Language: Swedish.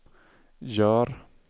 gör